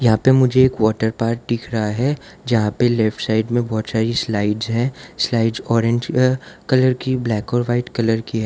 यहां पे मुझे एक वॉटरपार्क दिख रहा है जहां पे लेफ्टसाइड मे बहोत सारी स्लाइड्स है स्लाइड्स ऑरेंज कलर की ब्लैक और व्हाइट कलर की है।